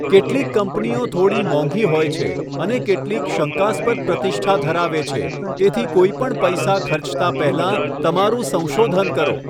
કેટલીક કંપનીઓ થોડી મોંઘી હોય છે અને કેટલીક શંકાસ્પદ પ્રતિષ્ઠા ધરાવે છે તેથી કોઈપણ પૈસા ખર્ચતા પહેલા તમારું સંશોધન કરો.